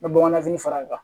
N bɛ bamananfini fara a kan